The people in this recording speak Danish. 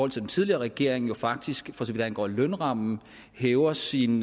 til den tidligere regering jo faktisk for så vidt angår lønrammen hæver sine